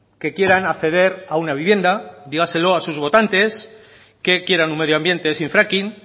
que quieran acceder a una vivienda dígaselo a sus votantes que quieran un medio ambiente sin fracking